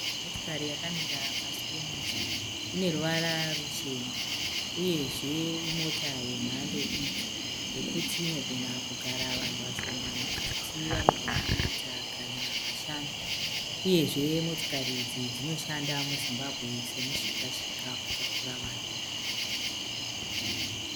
Motikari yakamira pasi pemuti. Ine ruvara ruchena. Uyezve imota yemhando diki yekuti ino gona kugara vanhu vashoma mukati vanogona kuita kana vashanu. Uyezve motikari idzi dzinoshanda mu Zimbabwe semu shika-shika kutakura vanhu.